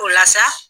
O la sa